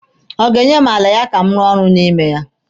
Ọ ga-enye m ala ya ka m rụọ ọrụ n'ime ya?